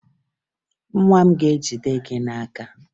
Nwa m ga-ejide gị n'aka